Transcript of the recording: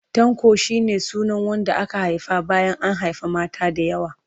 Tanko shi ne sunan wanda aka haifa bayan an haifi mata da yawa.